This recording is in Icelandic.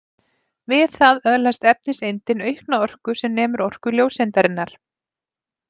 Við það öðlast efniseindin aukna orku sem nemur orku ljóseindarinnar.